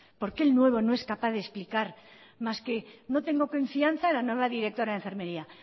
por qué el nuevo no es capaz de explicar más que no tengo confianza en la nueva directora de enfermería